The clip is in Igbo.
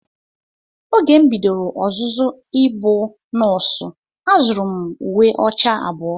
Oge m bidoro ọzụzụ ịbụ nọọsụ, azụrụ m uwe ọcha abụọ.